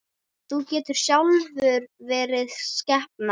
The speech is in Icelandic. Þú getur sjálfur verið skepna!